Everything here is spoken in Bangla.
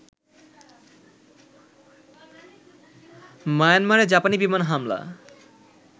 মায়ানমারে জাপানি বিমান হামলা